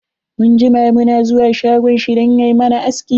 Mun jima mu na zuwa shagon shi dan ya mana aski.